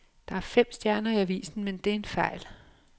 Der er fem stjerner i avisen, men det er en fejl.